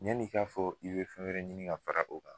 Yani ika fɔ i be fɛn wɛrɛ ɲini ka fara o kan